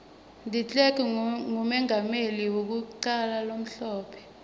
declerk ngumengameli wekugana lomhlophe